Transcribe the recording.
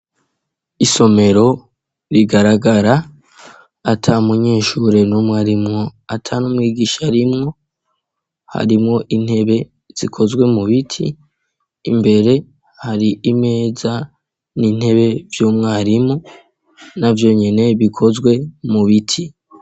Isomero rigaragara ata umunyeshure numwe arimwo ata n'umwigisha arimwo harimwo intebe zikozwe mu biti imbere hari imeza, n'intebe vyumwarimu na vyonyine bikozwe mu biti.